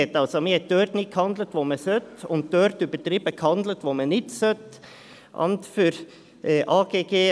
Man hat somit dort nicht gehandelt, wo man hätte handeln sollen, und dort übertrieben gehandelt, wo man nicht hätte handeln müssen.